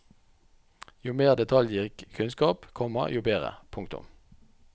Jo mer detaljrik kunnskap, komma jo bedre. punktum